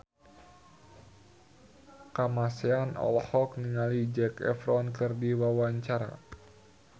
Kamasean olohok ningali Zac Efron keur diwawancara